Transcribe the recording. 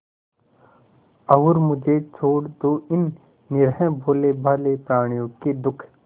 और मुझे छोड़ दो इन निरीह भोलेभाले प्रणियों के दुख